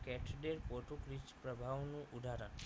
catdate Portuguese પ્રભાવનું ઉદાહરણ